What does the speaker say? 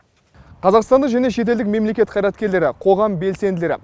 қазақстандық және шетелдік мемлекет қайраткерлері қоғам белсенділері